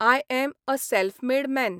I am a self made man.